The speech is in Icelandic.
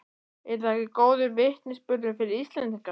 Er það ekki góður vitnisburður fyrir Íslendinga?